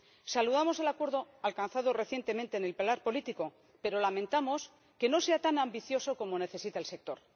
Saludamos el acuerdo alcanzado recientemente en el pilar político, pero lamentamos que no sea tan ambicioso como necesita el sector.